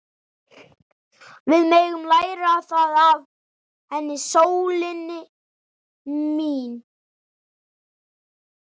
Við megum læra það af henni, sólin mín.